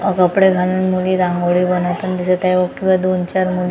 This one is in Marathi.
कपडे घालून मुली रांगोळी बनवताना दिसत आहे व दोन चार मु--